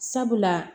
Sabula